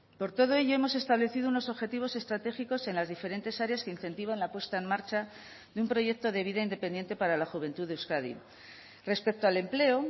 por todo ello hemos establecido unos objetivos estratégicos en las diferentes áreas que incentivan la puesta en marcha de un proyecto de vida independiente para la juventud de euskadi respecto al empleo